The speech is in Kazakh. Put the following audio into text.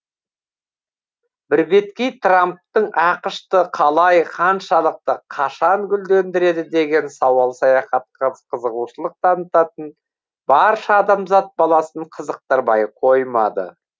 бірбеткей трамптың ақш ты қалай қаншалықты қашан гүлдендіреді деген сауал саяхатқа қызығушылық танытатын барша адамзат баласын қызықтырмай қоймады